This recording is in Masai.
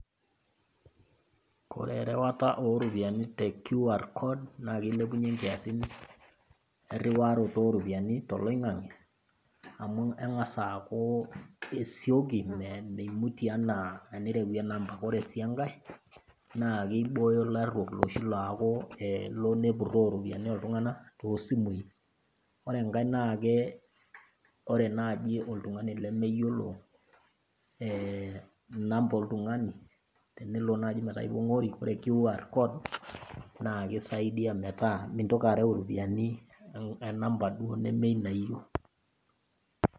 Ore erewata rupiani te qr code naa keileounye inkiasin eriwaroto o rupiani toloing'ang'e amu eng'as aaku esioki meimutie anaa tenirewie enamba. Ore sii enkai, naa keibooyio ilaruok loshii loaku elo nepuroo iropiani oltung'ana tosimui. Ore engai naake, ore naaji oltung'ani lemeyiolo namba oltung'ani, tenelo naaji metaa ipong'ori, ore qr code naake eisaidia metaa mintoki areu iropiani enamba nemeina niyeu.